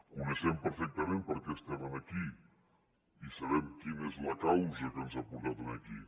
coneixem perfectament per què estem aquí i sabem quina és la causa que ens ha portat aquí